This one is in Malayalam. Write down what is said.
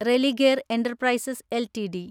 Religare enterprises LTD